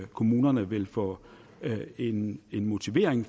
kommunerne ville få en motivation